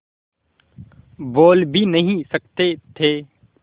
बोल भी नहीं सकते थे